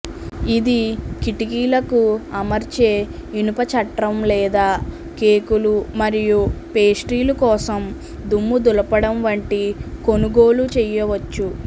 ఇది కిటికీలకు అమర్చే ఇనుప చట్రం లేదా కేకులు మరియు పేస్ట్రీలు కోసం దుమ్ము దులపడం వంటి కొనుగోలు చేయవచ్చు